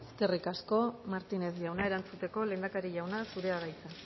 eskerrik asko eskerrik asko martínez jauna erantzuteko lehendakari jauna zurea da hitza